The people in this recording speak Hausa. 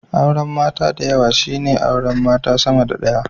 Auren mata dayawa shine aure mata sama da daya